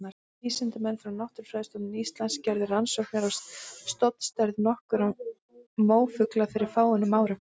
Vísindamenn frá Náttúrufræðistofnun Íslands gerðu rannsóknir á stofnstærð nokkurra mófugla fyrir fáeinum árum.